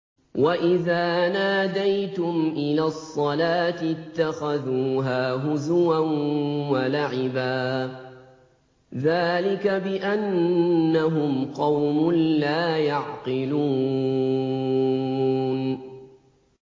وَإِذَا نَادَيْتُمْ إِلَى الصَّلَاةِ اتَّخَذُوهَا هُزُوًا وَلَعِبًا ۚ ذَٰلِكَ بِأَنَّهُمْ قَوْمٌ لَّا يَعْقِلُونَ